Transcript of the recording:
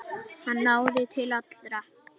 Hann náði til allra.